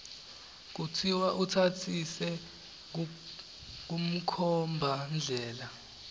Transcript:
kutsi utsatsise kumkhombandlela